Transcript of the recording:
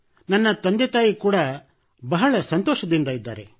ನನ್ನ ತಂದೆತಾಯಿ ಕೂಡಾ ಬಹಳ ಸಂತೋಷದಿಂದ ಇದ್ದಾರೆ